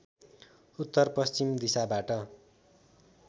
उत्तर पश्चिम दिशाबाट